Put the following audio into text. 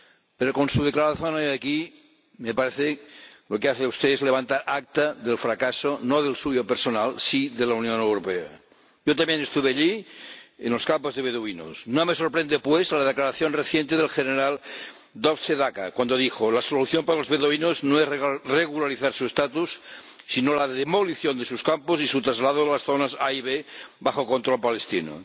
Pero con su declaración hoy aquí, me parece que lo que hace usted es levantar acta del fracaso, no del suyo personal, sí de la Unión Europea. Yo también estuve allí, en los campos de beduinos. No me sorprende pues la declaración reciente del general Dov Sedaka, cuando dijo que la solución para los beduinos no es regularizar su estatus, sino la demolición de sus campos y su traslado a las zonas A y B bajo control palestino.